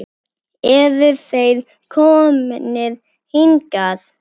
Eru þeir komnir hingað?